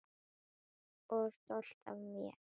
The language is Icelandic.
Og stolt af mér.